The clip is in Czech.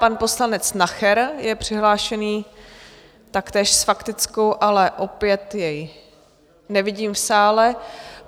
Pan poslanec Nacher je přihlášený taktéž s faktickou, ale opět jej nevidím v sále.